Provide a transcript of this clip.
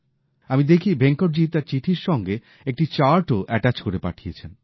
আমি দেখি ভেঙ্কটজি তার চিঠির সাথে একটি চার্টও অ্যাটাচ করে পাঠিয়েছেন